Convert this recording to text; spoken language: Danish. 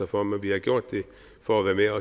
for men vi har gjort det for at være